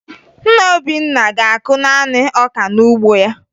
Nna Obinna ga-akụ naanị ọka n'ugbo ha